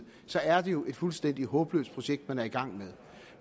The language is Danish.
så er det jo et fuldstændig håbløst projekt man er i gang med